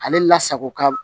Ale la sago ka